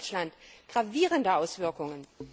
in Ostdeutschland, gravierende Auswirkungen.